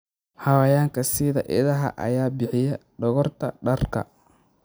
Xayawaanka sida idaha ayaa bixiya dhogorta dharka.